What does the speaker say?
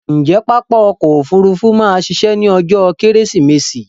Ǹjé pápá ọkò òfurufú ma a ṣiṣẹ́ ní ọjó kẹ́rẹ́sìmẹsì?